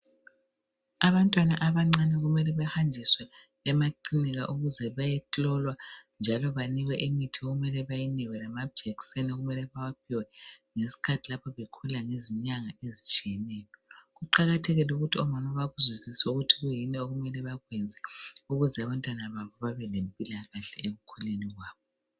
Abantwana abancane kumele behanjiswe emakilinika ukuze bayehlolwa njalo banikwe imithi okumele beyikwe lamajekiseni okumele bewaphiwe. Yisikhathi lapho bekhula ngezinyanga ezitshiyeneyo. Kuqakathekile ukuthi omama bakuzwisise ukuthi kuyini okumele bakwenze ukuze abantwana bavuke bempilakahle ekukhuleni kwabo.